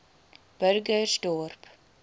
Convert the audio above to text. burgersdorp